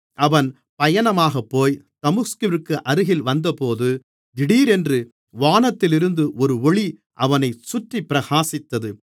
அவன் பயணமாகப்போய் தமஸ்குவிற்கு அருகில் வந்தபோது திடீரென்று வானத்திலிருந்து ஒரு ஒளி அவனைச் சுற்றிப் பிரகாசித்தது